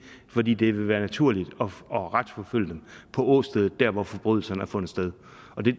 fordi det ville være naturligt at retsforfølge dem på åstedet nemlig der hvor forbrydelserne har fundet sted